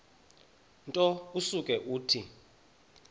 nto usuke uthi